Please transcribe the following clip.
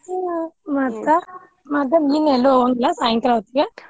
ಹ್ಮ್ ಮತ್ತ ಮತ್ ನೀನ್ ಎಲ್ಲಿ ಹೋಗಂಗಿಲ್ಲ ಸಾಯಂಕಾಲ ಹೊತ್ಗೆ.